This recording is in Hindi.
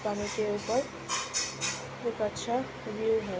पानी के ऊपर बहुत अच्छा व्यू है।